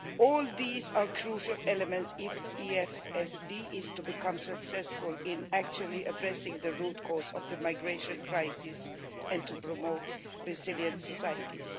All these are crucial elements if the EFSD is to become successful in addressing the root cause of the migration crisis and promoting resilient societies.